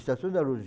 Estação da luz.